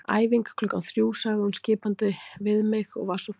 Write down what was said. Æfing klukkan þrjú sagði hún skipandi við mig og var svo farin.